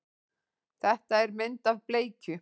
Þetta er mynd af bleikju.